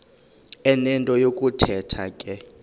enento yokuthetha ke